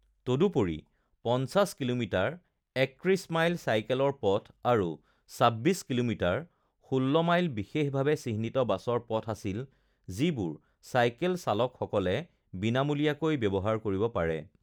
তদুপৰি, ৫০ kilometre (৩১ mile) চাইকেলৰ পথ আৰু ২৬ কিলোমিটাৰ (১৬ মাইল) বিশেষভাৱে চিহ্নিত বাছৰ পথ আছিল যিবোৰ চাইকেল চালকসকলে বিনামূলীয়াকৈ ব্যৱহাৰ কৰিব পাৰে৷